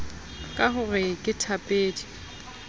ka ho re ke thapedi